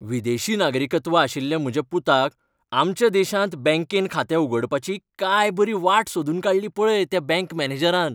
विदेशी नागरिकत्व आशिल्ल्या म्हज्या पुताक आमच्या देशांत बँकेंत खातें उगडपाची काय बरी वाट सोदून काडली पळय त्या बँक मॅनेजरान.